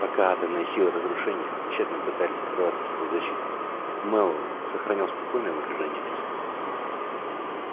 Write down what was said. пока атомные силы разрушения тщетно пытались прорваться сквозь защиту мэллоу сохранял спокойное выражение лица